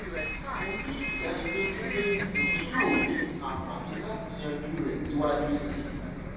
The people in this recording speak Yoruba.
mo ni idaniloju pe emi yoo ni anfani lati yanju rẹ siwaju sii